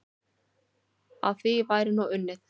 Að því væri nú unnið.